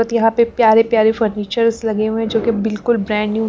यहां पे प्यारे-प्यारे फर्नीचर्स लगे हुए हैंजो कि बिल्कुल ब्रांड न्यू .